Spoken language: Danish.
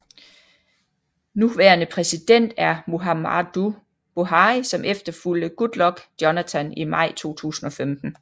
Nuværende præsident er Muhammadu Buhari som efterfulgte Goodluck Jonathan i maj 2015